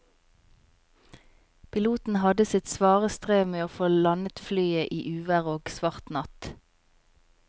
Piloten hadde sitt svare strev med å få landet flyet i uvær og svart natt.